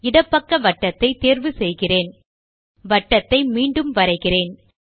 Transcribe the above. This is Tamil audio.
இடப்பக்க வட்டத்தை தேர்வு செய்கிறேன் வட்டத்தை மீண்டும் வரைகிறேன்